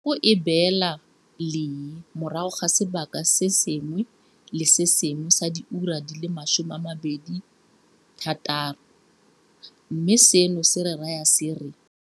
Kgogo e beela lee morago ga sebaka se sengwe le se sengwe sa diura di le 26, mme seno se re raya se re.